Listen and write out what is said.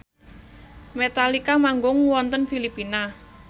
Metallica manggung wonten Filipina